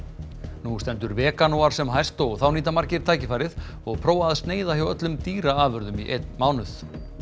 nú stendur veganúar sem hæst og þá nýta margir tækifærið og prófa að sneiða hjá öllum dýraafurðum í einn mánuð